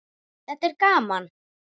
Þetta er gaman.